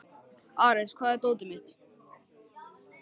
Ares, hvar er dótið mitt?